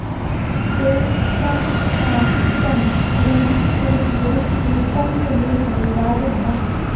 ॐ शं शां षं ह्रीं क्लीं गुरुश्री कुम्भयोनिदैवाय नमः